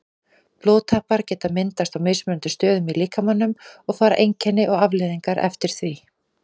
Blóðtappar geta myndast á mismunandi stöðum í líkamanum og fara einkenni og afleiðingar eftir því.